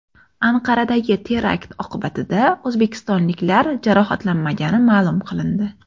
Anqaradagi terakt oqibatida o‘zbekistonliklar jarohatlanmagani ma’lum qilindi.